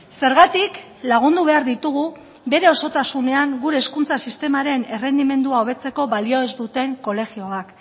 zergatik lagundu behar ditugu bere osotasunean gure hezkuntza sistemaren errendimendua hobetzeko balio ez duten kolegioak